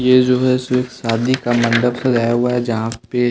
ये जो हैं इसमें शादी का मंडप सजाया हुआ है जहाँ पे--